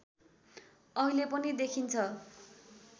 अहिले पनि देखिन्छ